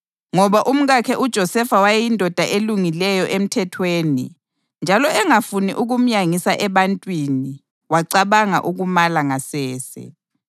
Ngoba umkakhe uJosefa wayeyindoda elungileyo emthethweni, njalo engafuni ukumyangisa ebantwini, wacabanga ukumala ngasese.